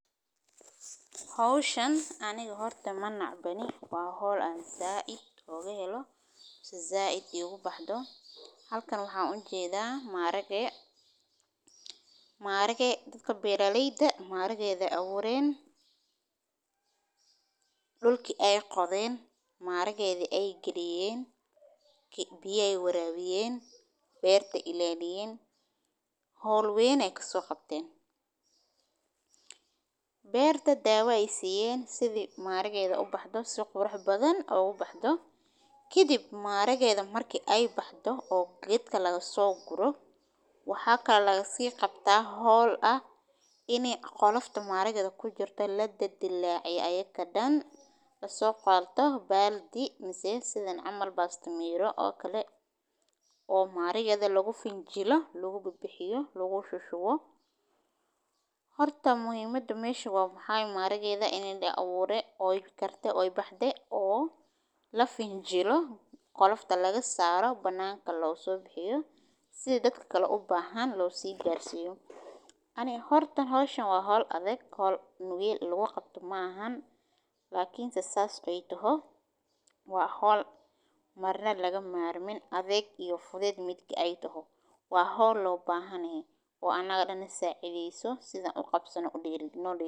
Howshan aniga horta ma nacbani, dadka beeraha waxay bilaabaan goosashada digirta, iyagoo isku dayaya inay qaadaan dhirta si fiican uga soo baxdo carrada, kadib waxay isku xidhaan sacooyin ama harag loogu talagalay in lagu shubo digirtu, waxayna si taxadar leh u guuraan dhanka beerta oo dhan, iyagoo raadinaya mid kasta oo ka mid ah digirtu si ay u gooyaan, qaar baa ka shaqeeya si degdeg ah halka qaar kale ay si tartiib tartiib ah u sameeyaan shaqada, waxayna isticmaalaan qalab sida mindiyo ama mindi yar oo loogu talagalay in lagu jaro dhirta, iyadoo ay xusuustaan inay ka ilaaliyaan cawska iyo dhirta kale ee ay ku dhex jiraan, kadib waxay u gudbiyaan digirtu meel lagu kaydiyo oo qalalan si ay u qalabsoonto marka dambe.